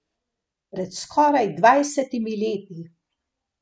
Pred skoraj dvajsetimi leti.